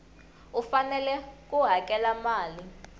u fanele ku hakela mali